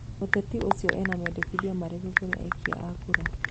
Mũteti ũcio ena mendikithia marĩkũ kũrĩ akia a kura?